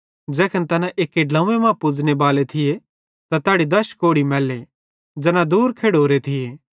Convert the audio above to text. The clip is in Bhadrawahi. ज़ैखन तैना एक्की ड्लव्वें मां पुज़ने बाले थिये त तैड़ी दश कोढ़ी मैल्ले ज़ैना दूर खेड़ोरे थिये